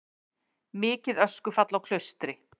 Mikið öskufall á Klaustri